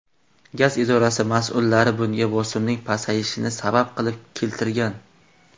Gaz idorasi mas’ullari bunga bosimning pasayishini sabab qilib keltirgan.